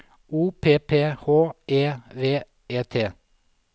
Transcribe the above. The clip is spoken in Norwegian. O P P H E V E T